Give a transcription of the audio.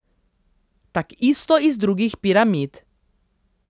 Takisto iz drugih piramid.